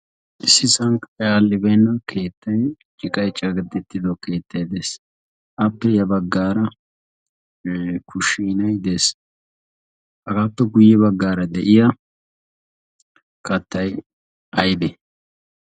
ississn karay aadhdhibeena keettay ciqqay caddetido keettay dees. appe ya baggar kushinay dees. appe guyyeera baggara de'iyaa kattay aybbe?